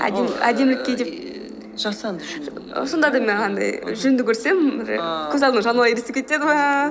сонда да маған ііі жүнді көрсем көз алдыма жануар елесіп кетеді ме